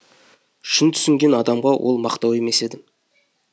шын түсінген адамға ол мақтау емес еді